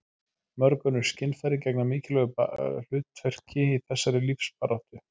mörg önnur skynfæri gegna mikilvægu hlutverki í þessari lífsbaráttu